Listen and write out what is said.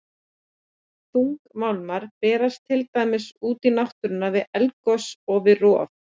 Þungmálmar berast til dæmis út í náttúruna við eldgos og við rof.